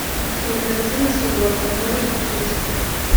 кинокартина суворов можешь включить